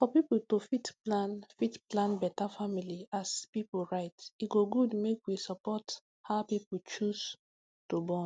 for pipu to fit to fit plan beta family as pipu right e go good make we support how people choose to born